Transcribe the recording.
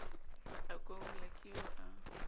a koula ke eo a